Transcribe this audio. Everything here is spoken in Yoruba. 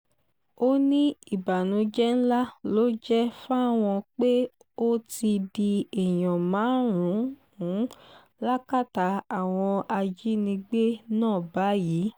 ó ní ìbànújẹ́ ńlá ló jẹ́ fáwọn pé ó ti di èèyàn márùn-ún lákàtà àwọn ajínigbé náà báyìí